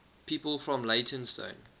people from leytonstone